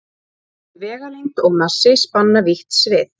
bæði vegalengd og massi spanna vítt svið